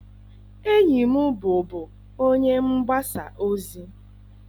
Enyi m bụbu onye mgbasa ozi.